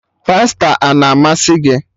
Pasta a na-amasị gị?